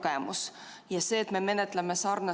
Tulemusega poolt 18, vastu 62 ei leidnud ettepanek toetust.